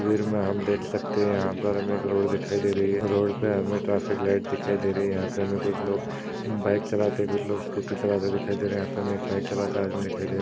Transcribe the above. तस्वीर मे हम देख सकते है। यहा पर हमे एक रोड दिखाई दे रही है। रोड पे हमे ट्राफिक लाइट दिखाई दे रही है। यहा पे हमे कुछ लोग बाइक चलाते कुछ लोग स्कूटी चलाते दिखाई दे रहे। यहा पे एक बाइक चलाता आदमी दिखाई दे--